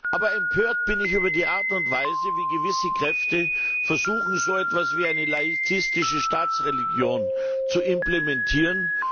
Aber empört bin ich über die Art und Weise, wie gewisse Kräfte versuchen, so etwas wie eine laizistische Staatsreligion zu implementieren.